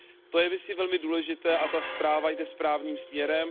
To je myslím velmi důležité a ta zpráva jde správným směrem.